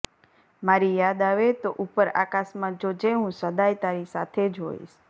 મારી યાદ આવે તો ઉપર આકાશમાં જોજે હું સદાય તારી સાથે જ હોઈશ